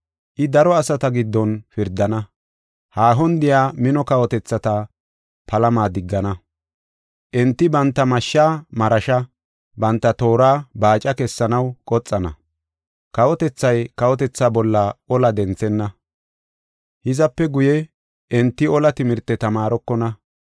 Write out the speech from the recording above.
I daro asata giddon pirdana; haahon de7iya mino kawotethata palama diggana. Enti banta mashshaa marasha, banta toora baaca kessanaw qoxana. Kawotethay kawotethaa bolla ola denthenna; hizape guye, enti ola timirte tamaarokona.